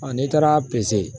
n'i taara peze